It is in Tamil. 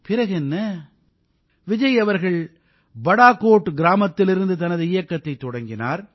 பிறகென்ன விஜய் அவர்கள் படாகோட் கிராமத்திலிருந்து தனது இயக்கத்தைத் தொடங்கினார்